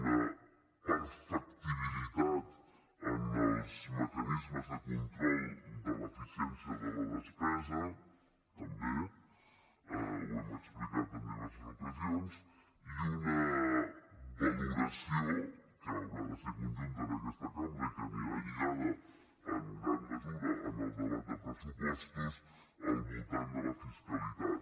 una perfectibilitat en els mecanismes de control de l’eficiència de la despesa també ho hem explicat en diverses ocasions i una valoració que haurà de ser conjunta en aquesta cambra i que anirà lligada en gran mesura al debat de pressupostos al voltant de la fiscalitat